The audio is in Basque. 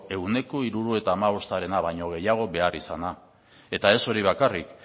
ehuneko hirurogeita hamabostarena baino gehiago behar izana eta ez hori bakarrik